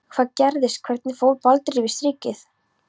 Hvað gerðist, hvernig fór Baldur yfir strikið?